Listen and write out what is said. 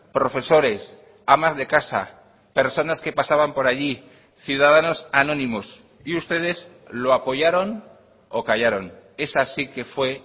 profesores amas de casa personas que pasaban por allí ciudadanos anónimos y ustedes lo apoyaron o callaron esa sí que fue